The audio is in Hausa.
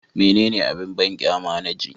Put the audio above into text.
Menene abin banƙyama na ji?